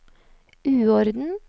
uorden